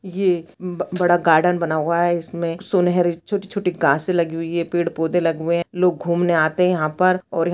ये ब बड़ा गार्डन बना हुआ है इसमे सुनहरी छोटी-छोटी घासें लगी हुई है पेड़-पौधे लगे हुए है लोग घूमने आते है यहाँ पर--